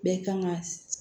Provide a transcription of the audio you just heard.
Bɛɛ kan ga